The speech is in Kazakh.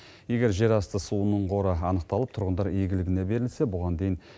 егер жерасты суының қоры анықталып тұрғындар игілігіне берілсе бұған дейін